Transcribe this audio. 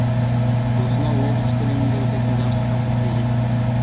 осынау облыс көлемінде өтетін жарысқа біз де жеттік